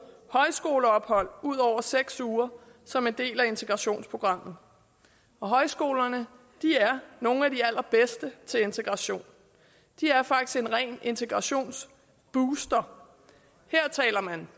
højskoleophold ud over seks uger som en del af integrationsprogrammet og højskolerne er nogle af de allerbedste til integration det er faktisk en ren integrationsbooster her taler man